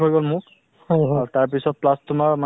এতিয়া ধৰা যিটো